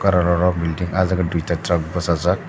ro ro belding ah jaga duita track bosajak.